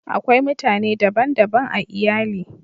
Akwai mutane dban daban a iyali